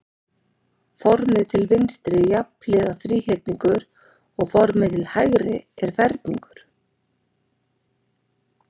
Formið til vinstri er jafnhliða þríhyrningur og formið til hægri er ferningur.